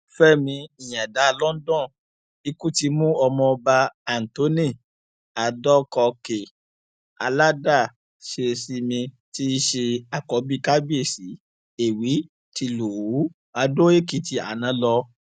fẹmí ìyàǹdà london ikú ti mú ọmọọba anthony adọkọkè aládàṣesinmi tí í ṣe àkọbí kábíyèsí èwí tìlùú àdóèkìtì àná lọ